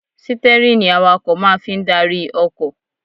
Sítẹ́rìnì awakọ̀ máa fi ń darí ọkọ̀